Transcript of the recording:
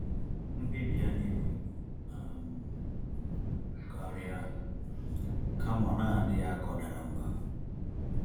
Mkpebi ya na-ebu ibu um karịa, kama ọ n'aghi adị ya ka ọ dara mbà